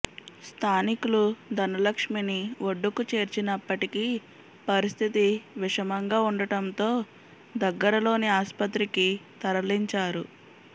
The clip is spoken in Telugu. స్థానికులు ధనలక్ష్మిని ఒడ్డుకు చేర్చినప్పటికీ పరిస్థితి విషమంగా ఉండటంతో దగ్గరలోని ఆస్పత్రికి తరలించారు